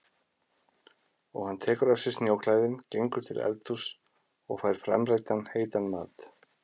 Og hann tekur af sér snjóklæðin, gengur til eldhúss og fær framreiddan heitan mat.